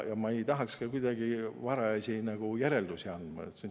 Ma ei tahaks ka kuidagi varajasi järeldusi teha.